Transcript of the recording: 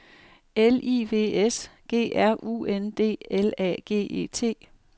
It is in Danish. L I V S G R U N D L A G E T